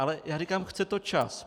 Ale já říkám, chce to čas.